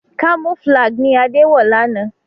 Camouflage ní Ade wọ lànà.